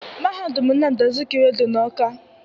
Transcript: Mahadum Nnamdi Azikwe dị n'Awka